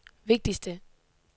vigtigste